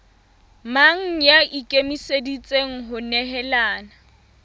mang ya ikemiseditseng ho nehelana